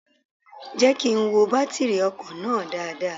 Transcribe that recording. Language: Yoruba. Jẹ́ kí n wo bátírì ọkọ̀ náà dáadáa.